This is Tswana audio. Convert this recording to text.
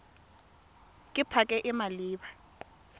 ke pac e e maleba